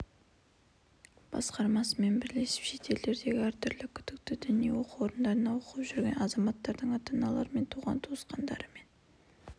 басқармасымен бірлесіп шет елдердегі әртүрлі күдікті діни оқу орындарында оқып жүрген азаматтардың ата-аналары мен туған-туысқандарымен